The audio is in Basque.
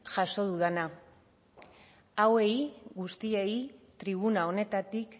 jaso dudana hauei guztiei tribuna honetatik